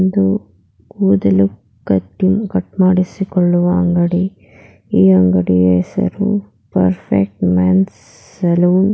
ಇದು ಕೂದಲು cutting cut ಮಾಡಿಸಿಕೊಳ್ಳುವ ಅಂಗಡಿ ಈ ಅಂಗಡಿಯ ಹೆಸರು ಪರ್ಫೆಕ್ಟ್ ಮೆನ್ಸ್ ಸಲೂನ್ .